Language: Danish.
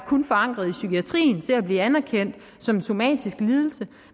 forankret i psykiatrien til at blive anerkendt som en somatisk lidelse